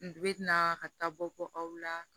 N bɛ na ka taa bɔ aw la